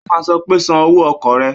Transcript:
Ó máa sọ pé san owó ọkọ̀ rẹ!